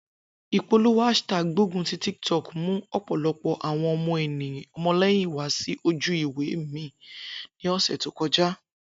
Ipolowo hashtag gbogun ti TikTok mu ọpọlọpọ awọn ọmọlẹyin wa si oju-iwe mi ni ọsẹ to kọja.